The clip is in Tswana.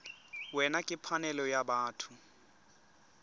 wena ke phanele ya batho